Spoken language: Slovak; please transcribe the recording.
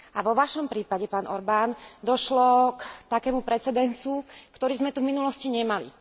A vo vašom prípade, pán Orbán, došlo k takému precedensu, ktorý sme tu v minulosti nemali.